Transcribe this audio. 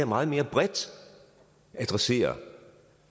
meget mere bredt adresseret